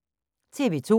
TV 2